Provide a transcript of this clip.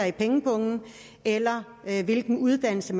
i pengepungen eller hvilken uddannelse